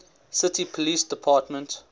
city police department